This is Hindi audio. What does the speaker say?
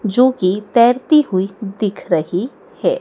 जो कि तैरती हुई दिख रही है।